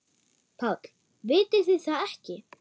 PÁLL: Vitið þið það ekki?